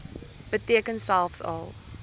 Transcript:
beteken selfs al